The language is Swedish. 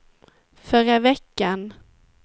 förra veckan